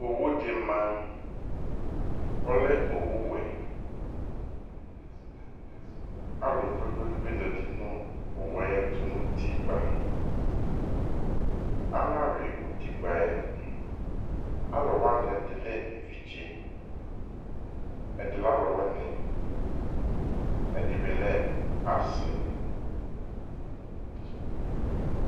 Owu dɩ ma ,ɔlɛ owu wɛAlʋ kpekpekpe zati nʋ owue ayɛtʋ nʋ utikpǝAnayʋɩ utikpǝ yɛ Alʋ wanɩ, ɛdɩ lɛ evidze ,ɛdɩ lɛ ɔlʋ wɩnɩ, ɛdɩ bɩ lɛ asɩ